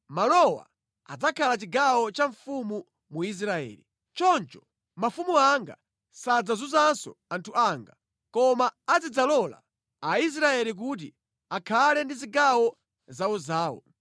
Malowa adzakhala chigawo cha mfumu mu Israeli. Choncho mafumu anga sadzazunzanso anthu anga, koma adzidzalola Aisraeli kuti akhale ndi zigawo zawozawo.